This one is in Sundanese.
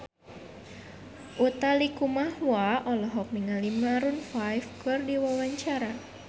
Utha Likumahua olohok ningali Maroon 5 keur diwawancara